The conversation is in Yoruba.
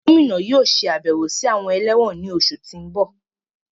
Gomina yóò ṣabẹwo si awọn ẹlẹwọn ni oṣu ti n bọ